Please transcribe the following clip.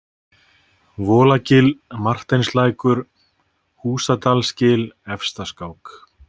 Volagil, Marteinslækur, Húsadalsgil, Efstaskák